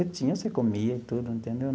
Você tinha, você comia e tudo, entendeu?